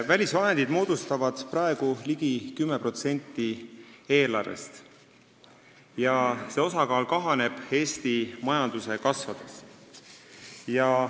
Välisvahendid moodustavad praegu ligi 10% eelarvest ja see osakaal Eesti majanduse kasvades kahaneb.